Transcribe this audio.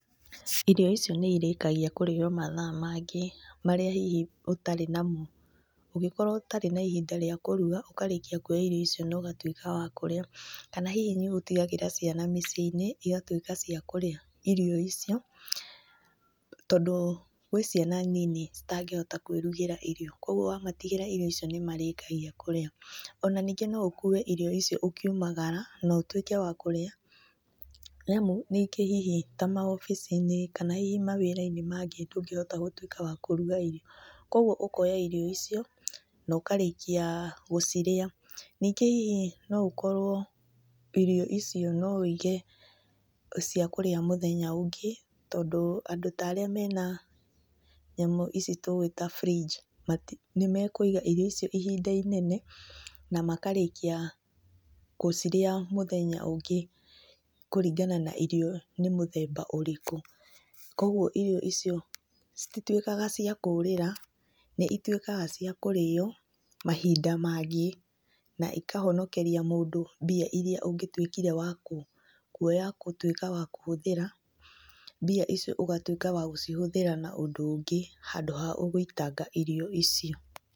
Irio icio nĩ ĩrĩkagia kũrĩo mathaa mangĩ marĩa hihi ũtarĩ namo. Ũngĩkorwo ũtarĩ na ihinda rĩa kũruga ũkarĩkia kuoya irio icio nogatuĩka wa kũrĩa. Kana hihi nĩ ũtigagĩra ciana mĩciĩ-inĩ igatuĩka cia kũrĩa irio icio, tondũ gwĩ ciana nini citangĩhota kwĩrugĩra irio kwogwo wamatigĩra irio icio nĩmarĩkagia kũrĩa. Ona ningĩ no ũkue irio icio ũkiumagara notuĩke wa kũrĩa, nĩ amu rĩngĩ hihi ta mawobici-inĩ kana hihi mawĩra-inĩ mangĩ ndũngĩhota gũtuĩka wa kũruga irio. Kogwo ũkoya irio icio no karĩkia gũcirĩa. Ningĩ hihi no ũkorwo irio icio no wĩige cia kũrĩa mũthenya ũngĩ, tondũ andũ ta arĩa mena nyamũ ici tũĩ ta fridge, nĩmekũiga irio icio ihinda inene na makarĩkia gũcirĩa mũthenya ũngĩ kũringana na irio nĩ mũthemba ũrĩkũ. Kogwo irio icio cititwĩkaga cia kũrĩra nĩ itwĩkaga cia kũrĩywo mahinda mangĩ na ikahonokeri mũndũ mbia iria ũngĩtuĩkire wa, kuoya gũtwĩka wa kũhũthĩra, mbia icio ũgatwĩka wa gũcihũthĩra na ũndũ ũngĩ handũ ha ũgwĩtanga irio icio.